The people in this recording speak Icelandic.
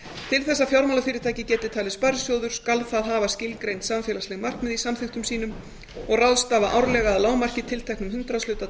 til þess að fjármálafyrirtæki geti talist sparisjóður skal það hafa skilgreind samfélagsleg markmið í samþykktum sínum og ráðstafa árlega að lágmarki tilteknum hundraðshluta